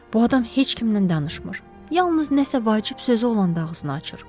Bu adam heç kimlə danışmır, yalnız nə isə vacib sözü olanda ağzını açır.